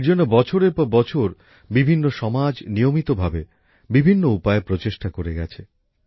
এরজন্য বছরেরপরবছর বিভিন্ন সমাজ নিয়মিতভাবে বিভিন্ন উপায়ে প্রচেষ্টা করে গেছে